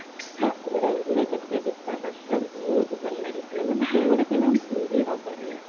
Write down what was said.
hostel ରେ ରହିଥିଲେ କେତେ ଗୀତ ନାଚ ବହୁତ ଭଲ ଲାଗିଥିଲା ସେଇଗୁରା ସବୁ ବହୁତ ଭଲ ଥିଲା